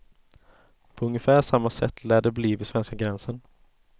På ungefär samma sätt lär det bli vid svenska gränsen.